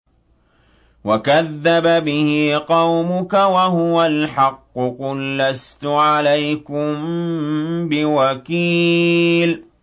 وَكَذَّبَ بِهِ قَوْمُكَ وَهُوَ الْحَقُّ ۚ قُل لَّسْتُ عَلَيْكُم بِوَكِيلٍ